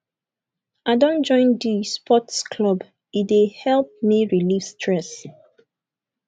i don join di sports club e dey help me relieve stress